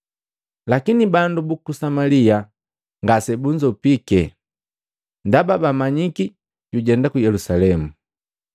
Lakini bandu buku Samalia ngase bunzopike, ndaba bamanyiki jujenda ku Yelusalemu.